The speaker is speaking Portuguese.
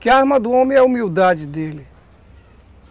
Que a arma do homem é a humildade dele.